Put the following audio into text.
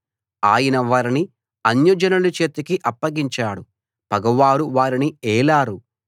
ఆయన వారిని అన్యజనుల చేతికి అప్పగించాడు పగవారు వారిని ఏలారు